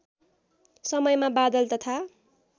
समयमा बादल तथा